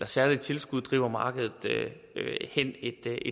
særligt tilskud driver markedet hen et